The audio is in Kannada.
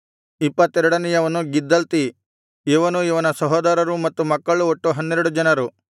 ಇಪ್ಪತ್ತೆರಡನೆಯವನು ಗಿದ್ದಲ್ತಿ ಇವನೂ ಇವನ ಸಹೋದರರೂ ಮತ್ತು ಮಕ್ಕಳು ಒಟ್ಟು ಹನ್ನೆರಡು ಜನರು